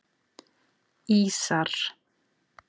Ísar